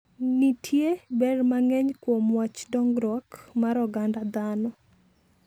Nitie ber mang'eny kuom wach dongruok mar oganda dhano.